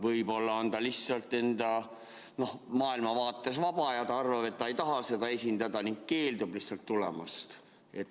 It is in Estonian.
Võib-olla on ta lihtsalt enda maailmavaates vaba ja ta arvab, et ta ei taha seda esindada, ning keeldub lihtsalt tulemast?